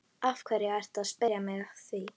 Af hverju ertu að spyrja mig að því?